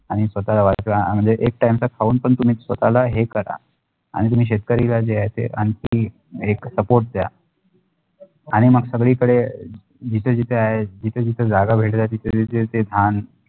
आणि स्वताला वाचला आणि एक time तक पाऊणनही तुम्ही स्वताला हे कारा आणि तुम्ही शेतकरी ला जे आहे ते आणखी एक support द्या आणि मग सगडीकडे जिथे जिथे आहे जिथेजिथे जागह भेटल्या तिथे तिथे ते धान